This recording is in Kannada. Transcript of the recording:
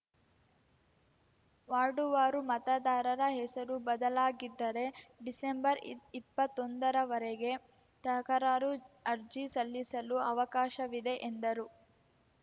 ವಾರ್ಡುವಾರು ಮತದಾರರ ಹೆಸರು ಬದಲಾಗಿದ್ದರೆ ಡಿಸೆಂಬರ್ಇಪ್ಪತ್ತೊಂದರವರೆಗೆ ತಕರಾರು ಅರ್ಜಿ ಸಲ್ಲಿಸಲು ಅವಕಾಶವಿದೆ ಎಂದರು